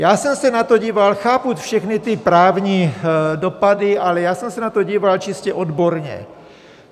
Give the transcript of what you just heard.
Já jsem se na to díval, chápu všechny ty právní dopady, ale já jsem se na to díval čistě odborně.